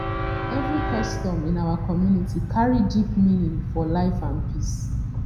every custom in our community carry deep meaning for life and peace